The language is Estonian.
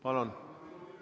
Palun!